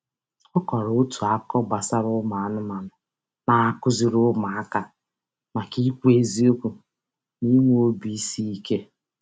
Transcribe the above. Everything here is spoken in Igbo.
Ọ kọrọ otu akụkọ gbasara ụmụanụmanụ na-akụziri ụmụaka maka ịkwụ eziokwu na inwe obiisiike.